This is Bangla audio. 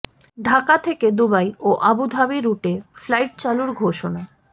ঢাকা থেকে দুবাই ও আবুধাবি রুটে ফ্লাইট চালুর ঘোষণা